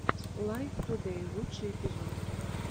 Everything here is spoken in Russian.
лайв тудэй лучший эпизод